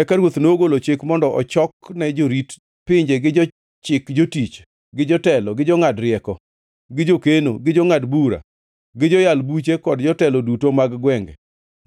Eka ruoth nogolo chik mondo ochokne jorit pinje gi jochik jotich, gi jotelo, gi jongʼad rieko, gi jokeno, gi jongʼad bura, gi joyal buche kod jotelo duto mag gwenge,